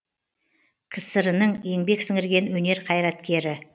кср інің еңбек сіңірген өнер қайраткері